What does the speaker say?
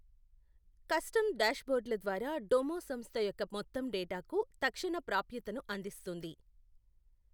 Custom డాష్బోర్డుల ద్వారా Domo సంస్థ యొక్క మొత్తం డేటాకు తక్షణ ప్రాప్యతను అందిస్తుంది.